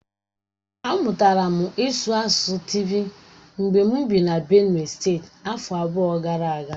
Amụtara m ịsụ asụsụ Tịvi mgbe m bị na Benue steeti afọ abụọ gara aga.